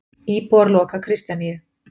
Íbúar loka Kristjaníu